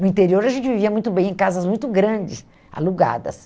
No interior a gente vivia muito bem, em casas muito grandes, alugadas.